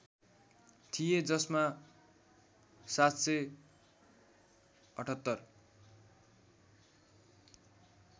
थिए जसमा ७७८